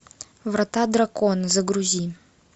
врата дракона загрузи